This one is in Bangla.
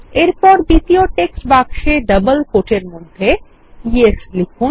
এরপর দ্বিতীয় টেক্সট বাক্সেডাবল কোট এর মধ্যে yesলিখুন